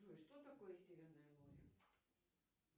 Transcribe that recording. джой что такое северное море